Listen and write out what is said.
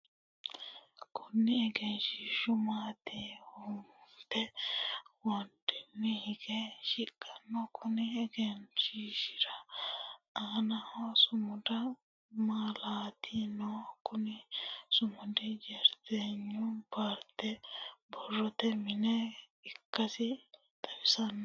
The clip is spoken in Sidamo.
Kunni egenshishu maatimate widoonni hige shiqinoho. Konni egenshishira aannaho sumudu malaati no. Kunni sumudi jireeynu paarte borrote mine ikasi xawisano.